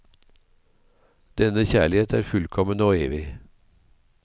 Denne kjærlighet er fullkommen og evig.